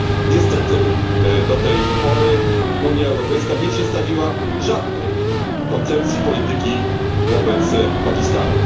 Niestety do tej pory Unia Europejska nie przedstawiła żadnej koncepcji polityki wobec Pakistanu.